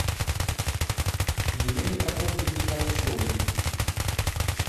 елене прокофьевне калачевой